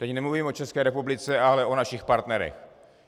Teď nemluvím o České republice, ale o našich partnerech.